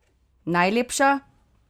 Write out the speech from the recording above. Najlepša?